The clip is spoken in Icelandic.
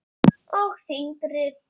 Og þyngri.